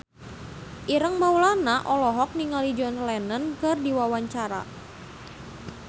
Ireng Maulana olohok ningali John Lennon keur diwawancara